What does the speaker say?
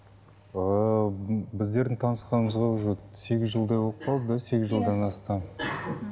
ыыы біздердің танысқанымызға уже сегіз жылдай болып қалды сегіз жылдан асты мхм